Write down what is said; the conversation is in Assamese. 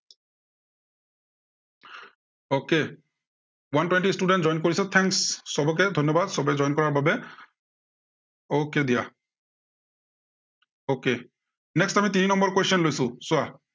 okay one twenty student join কৰিছে thanks সৱকে ধন্য়বাদ। সৱে join কৰাৰ বাবে। okay দিয়া। okay, next আমি তিনি number question লৈছো, চোৱা।